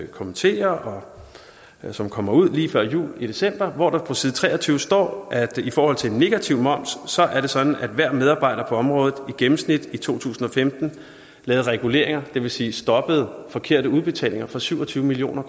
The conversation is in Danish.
kommenterer og som kommer ud lige før jul i december og hvor der på side tre og tyve står at i forhold til negativ moms er det sådan at hver medarbejder på området i gennemsnit i to tusind og femten lavede reguleringer det vil sige stoppede forkerte udbetalinger for syv og tyve million